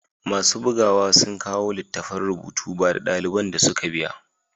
Masu bugawa sun kawo littattafan rubutu, ba da daliban da suka biya.